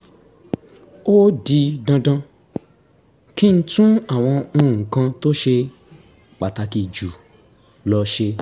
ó di dandan kí n tún àwọn nǹkan tó ṣe pàtàkì jù lọ ṣe